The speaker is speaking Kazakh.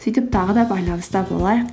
сөйтіп тағы да байланыста болайық